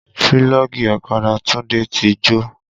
Pílọ́ọ̀gì ọ̀kadà Tunde ti jó